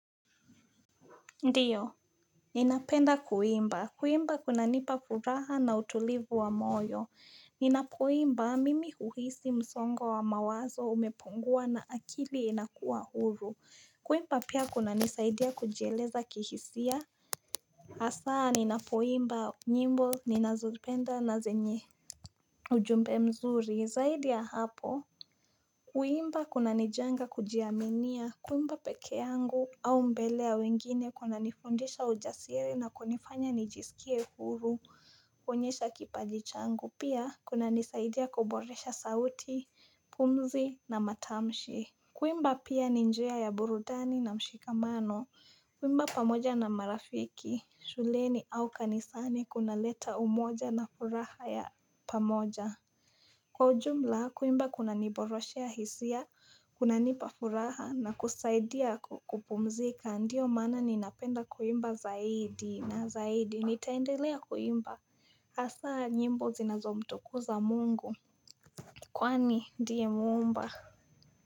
Ndiyo Ninapenda kuimba. Kuimba kunanipa furaha na utulivu wa moyo. Ninapoimba mimi uhisi msongo wa mawazo umepongua na akili inakua huru. Kuimba pia kuna nisaidia kujiheleza kihisia. Hasaa ninapoimba nyimbo ninazupenda na zenye ujumbe mzuri. Zaidi ya hapo. Kuimba kunanijenga kujiaminia, kuimba peke yangu au mbele ya wengine kunanifundisha ujasiri na kunifanya nijisikie huru, kuwonyesha kipajichangu, pia kunanisaidia kuboresha sauti, pumzi na matamshi. Kuimba pia ni njia ya burudani na mshikamano, kuimba pamoja na marafiki, shuleni au kanisani kuna leta umoja na furaha ya pamoja. Kwa ujumla kuimba kunaniboroshea hisia, kunanipa furaha na kusaidia kupumzika ndio mana ninapenda kuimba zaidi na zaidi nitaendelea kuimba hasa nyimbo zinazo mtukuza mungu kwani ndiye muumba.